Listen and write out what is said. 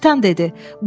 kapitan dedi.